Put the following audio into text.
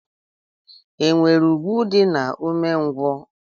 E nwere ùgwù dị na umengwu?